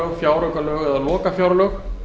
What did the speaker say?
fjárlög fjáraukalög eða lokafjárlög